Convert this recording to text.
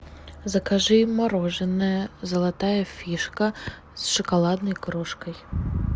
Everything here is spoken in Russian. закажи мороженое золотая фишка с шоколадной крошкой